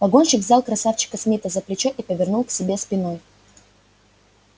погонщик взял красавчика смита за плечо и повернул к себе спиной